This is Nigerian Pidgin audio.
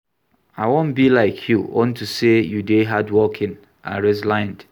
I wan be like you unto say you dey hardworking and resilient